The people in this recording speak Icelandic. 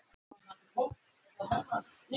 Hvasst á Suðvesturlandi